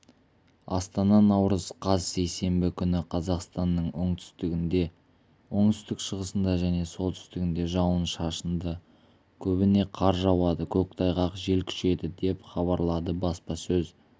астана наурыз қаз сейсенбі күні қазақстанның оңтүстігінде оңтүстік-шығысында және солтүстігінде жауын-шашынды көбіне қар жауады көктайғақ жел күшейеді деп хабарлады баспасөз